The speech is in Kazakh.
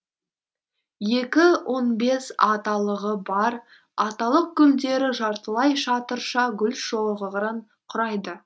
екі он бес аталығы бар аталық гүлдері жартылай шатырша гүлшоғырын құрайды